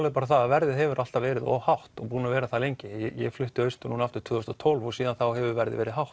er bara að verðið hefur alltaf verið of hátt og er búið að vera það lengi ég flutti austur núna aftur árið tvö þúsund og tólf og síðan þá hefur verðið verið hátt